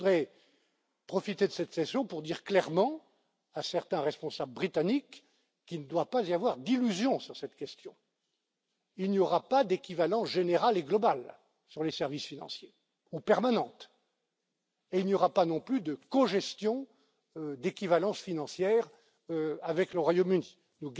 Mais je voudrais profiter de cette session pour dire clairement à certains responsables britanniques qu'il ne doit pas y avoir d'illusion sur cette question il n'y aura pas d'équivalence générale et globale, ou permanente, sur les services financiers. Il n'y aura pas non plus de cogestion d'équivalence financière avec le Royaume Uni.